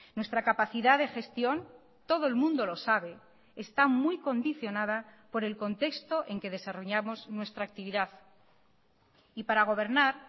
nuestra capacidad de gestión todo el mundo lo sabe está muy condicionada por el contexto en que desarrollamos nuestra actividad y para gobernar